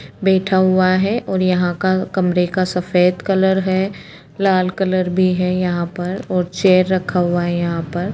बैठा हुआ है और यहाँ का कमरे का सफेद कलर हैं लाल कलर भी हैं यहाँ पर और चेयर रखा हुआ है यहाँ पर--